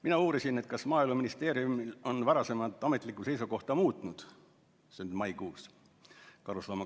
Mina uurisin, kas Maaeluministeerium on oma varasemat ametlikku seisukohta karusloomakasvatuse kohta muutnud.